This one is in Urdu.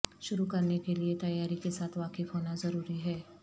شروع کرنے کے لئے تیاری کے ساتھ واقف ہونا ضروری ہے